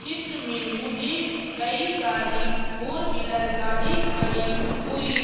चित्र में मुझे कई सारी फोर व्हीलर गाड़ी खड़ी हुई--